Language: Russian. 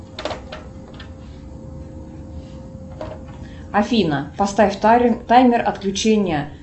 афина поставь таймер отключения